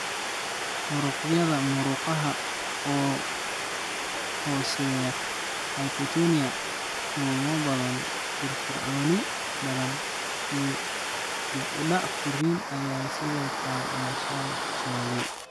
Muruqyada murqaha oo hooseeya (hypotonia), lulmo badan, firfircooni badan, iyo dib u dhac korriin ayaa sidoo kale la soo sheegay.